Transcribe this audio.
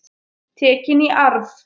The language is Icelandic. Tekin í arf.